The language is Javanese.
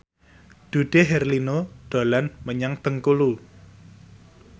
Dude Herlino dolan menyang Bengkulu